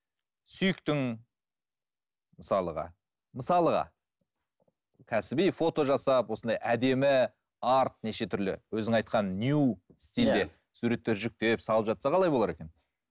сүйіктің мысалға мысалға кәсіби фота жасап осындай әдемі арт неше түрлі өзің айтқан нью стилде суреттер жүктеп салып жатса қалай болар екен